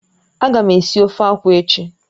Ága m esi ofe akwụ echi